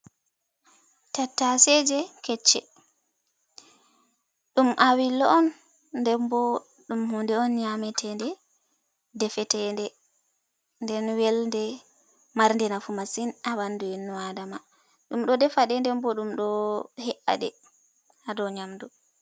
Tattaseje kecce. Ɗum awillo on ndembo ɗum huunde on nyame teɗe, defe teɗe, nden welde, marde nafu masin haa ɓandu innu adama, ɗum ɗo defaɗe nden bo ɗum ɗo he’aɗe hado nyamdu.